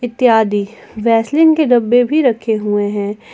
इत्यादि वैसलीन के डब्बे भी रखे हुए हैं।